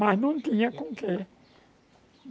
Mas não tinha com o que.